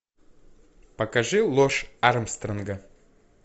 покажи ложь армстронга